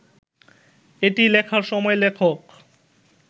এটি লেখার সময় লেখক